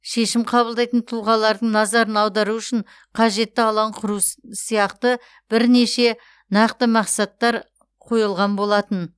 шешім қабылдайтын тұлғалардың назарын аудару үшін қажетті алаң құру сияқты бірнеше нақты мақсаттар қойылған болатын